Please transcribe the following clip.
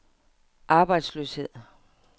arbejdsløshed